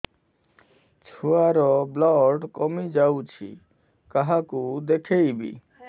ଛୁଆ ର ବ୍ଲଡ଼ କମି ଯାଉଛି କାହାକୁ ଦେଖେଇବି